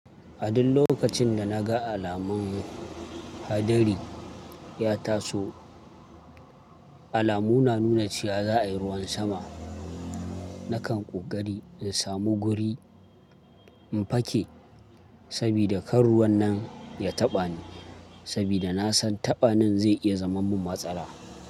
A duk lokacin da na ga alamun hadari ya taso, alamu na nuna cewa za a yi ruwan sama, na kan ƙoƙari in samu guri in fake saboda kar ruwan nan ya taɓa ni. Saboda na san taɓanin zai iya zaman mun matsala.